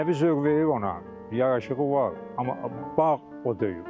Mənəvi zövq verir ona, yaraşığı var, amma bağ o deyil.